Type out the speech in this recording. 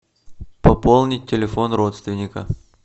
пополнить телефон родственника